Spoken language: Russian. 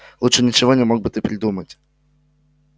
лучше ничего не мог бы ты придумать